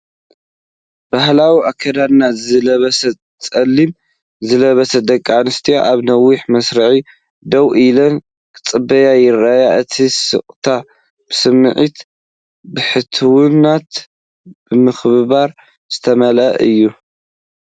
ባህላዊ ኣከዳድና ዝለበሳ፡ ጸሊም ዝለበሳ ደቂ ኣንስትዮ፡ ኣብ ነዊሕ መስርዕ ደው ኢለን ክጽበያ ይረኣያ። እቲ ስቕታ ብስምዒት ብሕትውናን ምክብባርን ዝተመልአ እዩ።